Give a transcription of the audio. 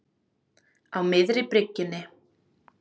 Á miðri bryggjunni.